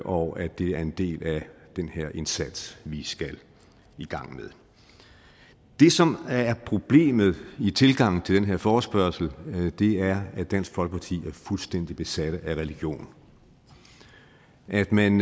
og at det er en del af den her indsats vi skal i gang med det som er problemet i tilgangen til den her forespørgsel er at dansk folkeparti er fuldstændig besatte af religion og at man